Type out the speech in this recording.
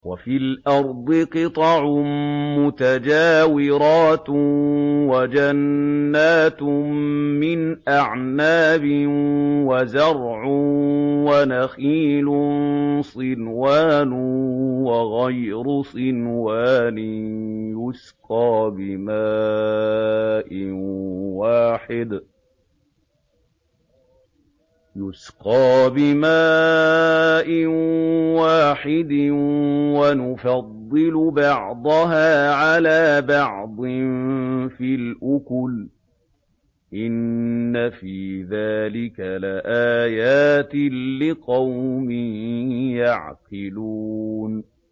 وَفِي الْأَرْضِ قِطَعٌ مُّتَجَاوِرَاتٌ وَجَنَّاتٌ مِّنْ أَعْنَابٍ وَزَرْعٌ وَنَخِيلٌ صِنْوَانٌ وَغَيْرُ صِنْوَانٍ يُسْقَىٰ بِمَاءٍ وَاحِدٍ وَنُفَضِّلُ بَعْضَهَا عَلَىٰ بَعْضٍ فِي الْأُكُلِ ۚ إِنَّ فِي ذَٰلِكَ لَآيَاتٍ لِّقَوْمٍ يَعْقِلُونَ